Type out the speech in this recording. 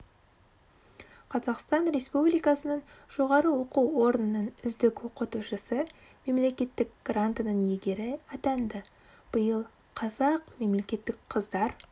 қазақстан республикасының жоғары оқу орнының үздік оқытушысы мемлекеттік грантының иегері атанды биыл қазақ мемлекеттік қыздар